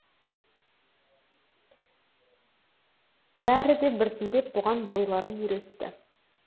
бәрі де біртіндеп бұған бойларын үйретті